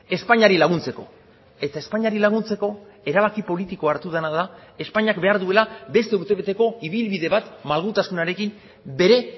espainiari laguntzeko eta espainiari laguntzeko erabaki politikoa hartu dena da espainiak behar duela beste urtebeteko ibilbide bat malgutasunarekin bere